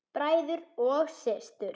Bræður og systur!